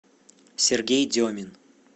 сергей демин